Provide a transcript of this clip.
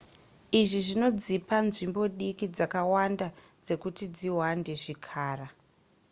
izvi zvinodzipa nzvimbo diki dzakawanda dzekuti dzihwande zvikara